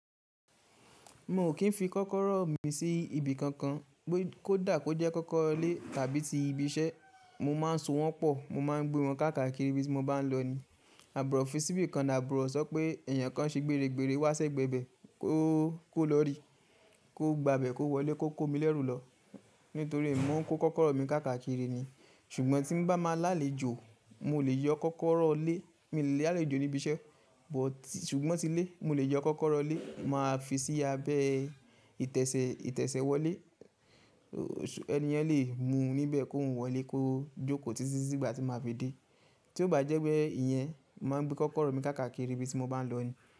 Mo ò kí ń fi kọ́kọ́rọ́ mi sí ibi kankan, kó dà kó jẹ́ kọ́kọ́rọ́ ilé tàbí ti ibi iṣẹ́. Mo má ń so wọ́n pọ̀, mo má ń gbé wọn káàkiri ibi tí mo bá ń lọ ni. Àbúrò fisibí kan làborò sọ pé èèyàn kan ṣe gbére gbére wá sé gbẹ̀bẹ̀, kó lọ́rí, kó gba'bẹ̀, kó wọlé, kó kó mi lẹ́rù lọ nítorí mo ń kó kọ́kọ́rọ́ mi káàkiri ni. Ṣùgbọ́n tí bá máa lálejò, mo lè yọ kọ́kọ́rọ́ ilé, mo lè lálejò ní ibi iṣẹ́, ṣùgbọ́n tí ilé, mo lè yọ kọ́kọ́rọ́ ilé, màá fi sí abẹ́ ìtẹ̀sẹ̀- ìtẹ̀sẹ̀ wọlé, ẹniyen lè mu níbẹ̀ kó wọlé, kó jókòó títí tí ìgbà tí màá fi dé. Tí ó bá jẹ́ pé ìyẹn, màá gbé kọ́kọ́rọ́ mi káàkiri ibi tí mo bá ń lọ ni.